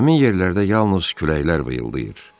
Həmin yerlərdə yalnız küləklər vıyıldayır.